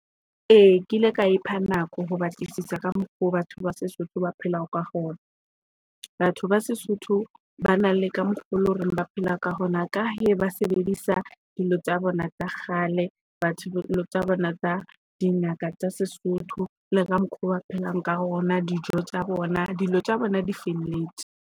Ee kile ka ipha nako ho batlisisa ka mokgo batho ba seSotho ba phela ka hona. Batho ba seSotho ba na le ka mokgo loreng ba phela ka hona ka he ba se sebedisa dilo tsa bona tsa kgale bona tsa dingaka tsa seSotho le ka mokgwa wa phelang ka hona dijo tsa bona dilo tsa bona di felletse.